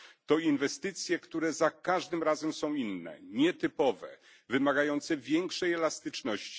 To inwestycje, które za każdym razem są inne, nietypowe, wymagające większej elastyczności.